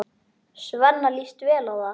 Svenna líst vel á það.